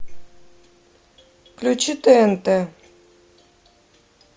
включи тнт